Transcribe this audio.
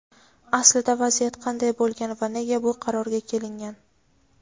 Aslida vaziyat qanday bo‘lgan va nega bu qarorga kelingan?.